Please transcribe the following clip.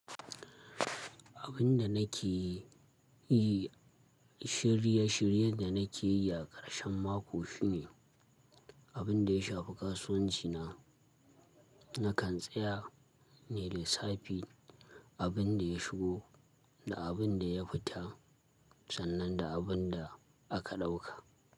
Abin da nake yi, shirye shiryen da nake yi a karshen mako shine, abin da ya shafi kasuwanci na. Nakan tsaya ne da safe, abin da ya shigo da abin da ya fita sannan da abin da aka ɗauka.